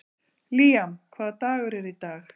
Líam, hvaða dagur er í dag?